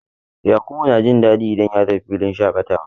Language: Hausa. Yarkubu na jin daɗi idan ya tafi filin shaƙatawa.